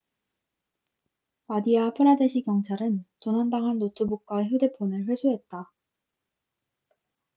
마디아 프라데시 경찰은 도난당한 노트북과 휴대폰을 회수했다